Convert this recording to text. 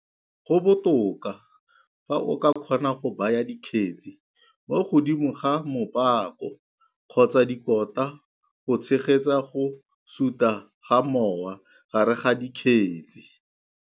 Go botoka fa o ka kgona go baya dikgetsi mo godimo ga mopako kgotsa dikota go tshegetsa go suta ga mowa gare ga dikgetsi.